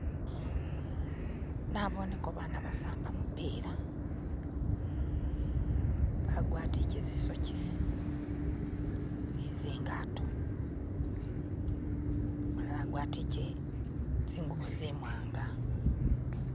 na'boneko baana ba'samba mu'pila ba'gwatike zi'sokisi ni'zingato ba'gwatikile zi'ngubo zi'mwanga